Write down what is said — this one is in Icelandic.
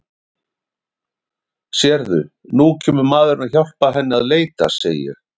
Sérðu, nú kemur maðurinn að hjálpa henni að leita, segi ég.